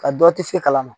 Ka dɔ ti se kalan ma